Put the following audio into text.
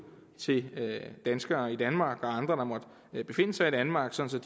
til danskere i danmark og til andre der måtte befinde sig i danmark sådan